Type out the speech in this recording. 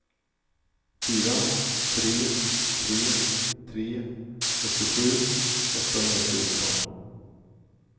fyra tre tre tre åttiosju åttahundrafjorton